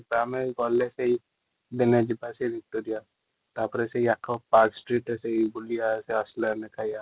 ଆମେ ଗଲେ ସେଇ ଦିନେ ଯିବା ତାପରେ ସେଇ ଆଖ ପାର୍କ ସ୍ଟ୍ରୀଟ୍ ଯାଇ ବୁଲିବା ଜୁଷ୍ଟ ଲର ରେ ଯାଇ ଖାଇବା |